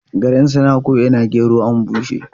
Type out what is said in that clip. Garan suna ko'ina gero an bushe.